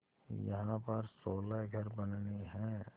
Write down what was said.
यहाँ पर सोलह घर बनने हैं